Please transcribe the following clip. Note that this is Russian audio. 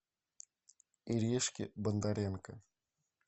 иришке бондаренко